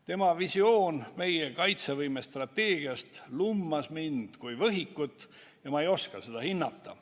Tema visioon meie kaitsevõime strateegiast lummas mind kui võhikut ja ma ei oska seda hinnata.